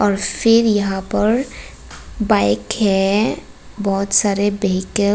और फिर यहां पर बाइक है बहुत सारे व्हीकल --